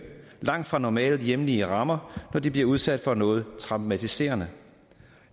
langt fra normale hjemlige rammer når de bliver udsat for noget traumatiserende